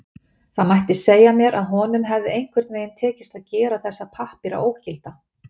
Það mætti segja mér að honum hefði einhvern veginn tekist að gera þessa pappíra ógilda.